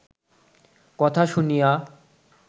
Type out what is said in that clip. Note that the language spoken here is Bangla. কথা শুনিয়া